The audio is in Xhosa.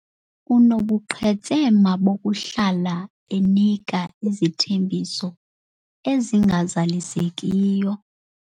Unobuqhetseba bokuhlala enika izithembiso angazizalisekisiyo.